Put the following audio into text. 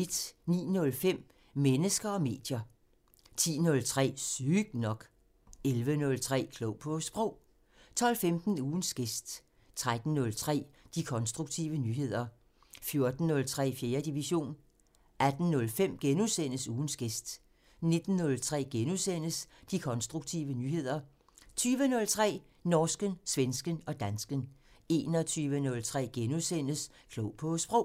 09:05: Mennesker og medier 10:03: Sygt nok 11:03: Klog på Sprog 12:15: Ugens gæst 13:03: De konstruktive nyheder 14:03: 4. division 18:05: Ugens gæst * 19:03: De konstruktive nyheder * 20:03: Norsken, svensken og dansken 21:03: Klog på Sprog *